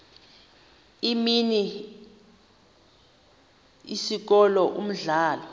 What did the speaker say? imini isikolo umdlalo